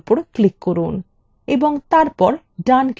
এবং তারপর ডান click করুন